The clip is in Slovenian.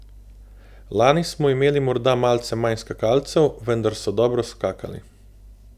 Lani smo imeli morda malce manj skakalcev, vendar so dobro skakali.